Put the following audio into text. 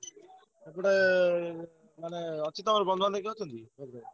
ଗୋଟେ ମାନେ ଅଛି ତମର ବନ୍ଧୁବାନ୍ଧବ କିଏ ଅଛନ୍ତି? ।